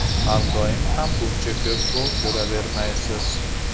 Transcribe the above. Har doim ham buncha ko‘p gol ko‘ravermaysiz.